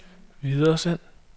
videresend